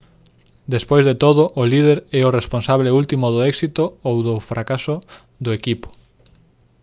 despois de todo o líder é o responsable último do éxito ou do fracaso do equipo